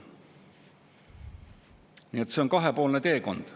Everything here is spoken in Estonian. Nii et see on kahepoolne teekond.